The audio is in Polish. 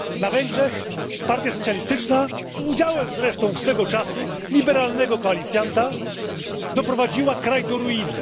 Na Węgrzech partia socjalistyczna, z udziałem zresztą swego czasu liberalnego koalicjanta, doprowadziła kraj do ruiny.